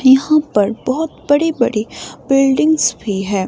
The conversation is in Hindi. यहां पर बहोत बड़े बड़े बिल्डिंग्स भी हैं।